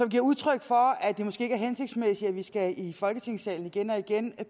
giver udtryk for at det måske ikke er hensigtsmæssigt at vi skal i folketingssalen igen og igen